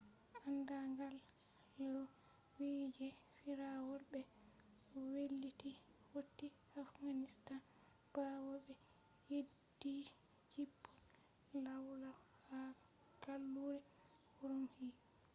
anda gal lau vi je firawol be wailiti hoti afghanistan bawo be yeddhi jippol lawlaw ha gallure urumqi